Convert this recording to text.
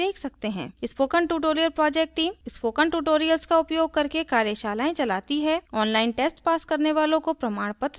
spoken tutorial project team spoken tutorials का उपयोग करके कार्यशालाएँ चलती है online test pass करने वालों को प्रमाण पत्र भी देते हैं